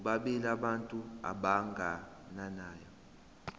bobabili abantu abagananayo